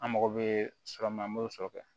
An mago bɛ sɔrɔ min na an b'o sɔ kɛ